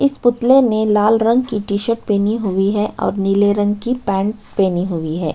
इस पुतले ने लाल रंग की टी-शर्ट पहनी हुई है और नील रंग की पैंट पहनी हुई है।